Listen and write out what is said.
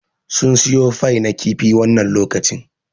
Sun suyo fai na kifi wannan lokacin